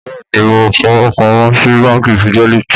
Bẹ́ẹ̀ ni, mo fowó pamọ́ sí Báńkì Fidelity.